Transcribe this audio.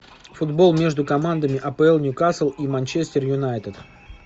футбол между командами апл ньюкасл и манчестер юнайтед